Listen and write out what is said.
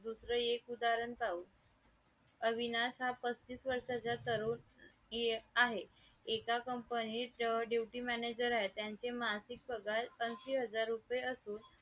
अलीकडे चलन विषयीक धोरणामुळे बरोबरच आर्थिक स्थैर्य निर्माण करण्याची धुरा रिझर्व बँकेने उचलली आहे त्यामुळे रिझर्व बँकेच्या कामाचा आवाका परकीय व्यवहार खात्यापासून